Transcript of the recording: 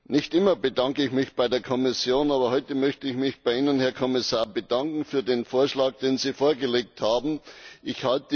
Nicht immer bedanke ich mich bei der Kommission, aber heute möchte ich mich bei Ihnen, Herr Kommissar, für den Vorschlag, den Sie vorgelegt haben, bedanken.